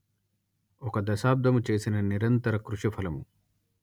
ఒకదశాబ్దము చేసిన నిరంతరకృషి ఫలము